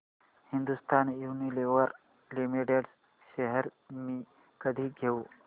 Hindustan Unilever limited shares मी कधी घेऊ